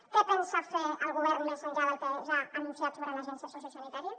què pensa fer el govern més enllà del que ja ha anunciat sobre l’agència sociosanitària